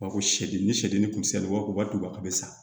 U b'a fɔ sɛden ni sɛgɛn ni kusiw wajibi a bɛ sa